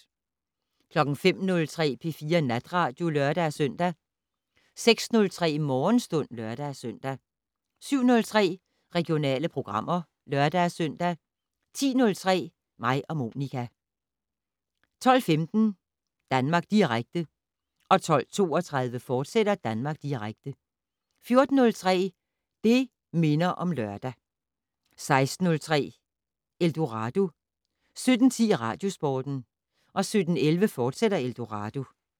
05:03: P4 Natradio (lør-søn) 06:03: Morgenstund (lør-søn) 07:03: Regionale programmer (lør-søn) 10:03: Mig og Monica 12:15: Danmark Direkte 12:32: Danmark Direkte, fortsat 14:03: Det' Minder om Lørdag 16:03: Eldorado 17:10: Radiosporten 17:11: Eldorado, fortsat